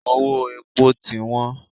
Owó epo ti wọ́n.